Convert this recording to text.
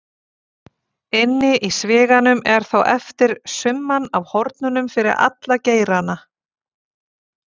Inni í sviganum er þá eftir summan af hornunum fyrir alla geirana.